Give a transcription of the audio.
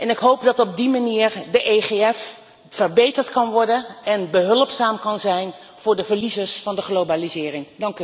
Ik hoop dat op die manier het EFG verbeterd kan worden en behulpzaam kan zijn voor de verliezers van de globalisering.